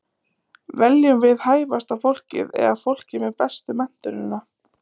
Veljum við hæfasta fólkið eða fólkið með bestu menntunina?